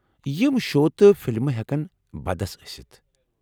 یم شو تہٕ فلمہٕ ہٮ۪کن بدس ٲسِتھ ۔